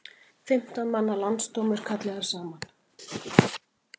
Fimmtán manna landsdómur kallaður saman